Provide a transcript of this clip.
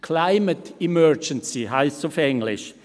«Climate emergency» heisst es auf Englisch.